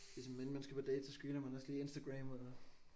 Ligesom inden man skal på date så screener man også lige Instagram og